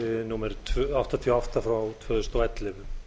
númer áttatíu og átta tvö þúsund og ellefu